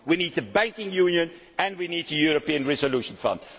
We need banking union and we need a European resolution fund.